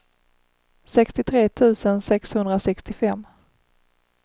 sextiotre tusen sexhundrasextiofem